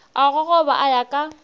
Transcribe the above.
a gogoba a ya ka